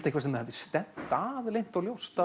eitthvað sem þið hafið stefnt að leynt og ljóst